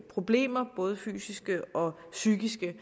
problemer både fysiske og psykiske